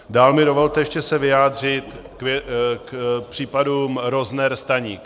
Dál mi dovolte ještě se vyjádřit k případům Rozner, Staník.